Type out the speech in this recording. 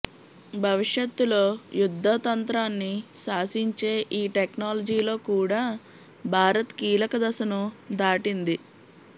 భవిష్యత్తులో యుద్ధతంత్రాన్ని శాసించే ఈ టెక్నాలజీలో కూడా భారత్ కీలక దశను దాటింది